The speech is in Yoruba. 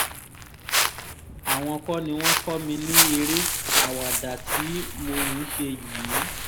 àwọn kọ́ ni wọ́n kọ́ mi ní eré àwàdà tí mò ń ṣe yìí